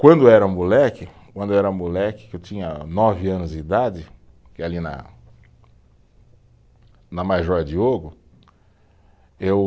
Quando era moleque, quando eu era moleque, que eu tinha nove anos de idade, que é ali na, na Major Diogo, eu